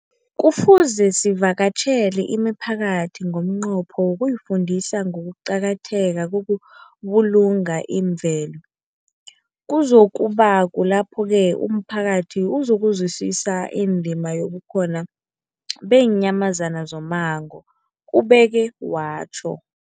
Kufuze sivakatjhele imiphakathi ngomnqopho wokuyifundisa ngokuqakatheka kokubulunga imvelo. Kuzoku ba kulapho-ke umphakathi uzokuzwisisa indima yobukhona beenyamazana zommango, ubeke watjho.